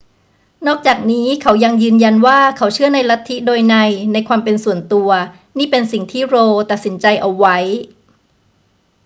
นอกจากนี้เขายังยืนยันว่าเขาเชื่อในสิทธิโดยนัยในความเป็นส่วนตัว นี่เป็นสิ่งที่ roe ตัดสินใจเอาไว้